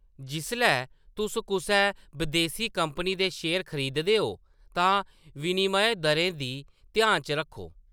जिसलै तुस कुसै बदेसी कंपनी दे शेयर खरीददे ओ तां विनिमय दरें गी ध्यान च रक्खो।